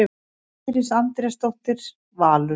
Íris Andrésdóttir, Valur.